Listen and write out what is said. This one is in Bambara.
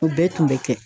O bɛɛ tun bɛ kɛ